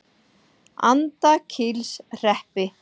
Andakílshreppi